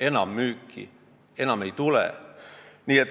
enammüüki sellest ei tule.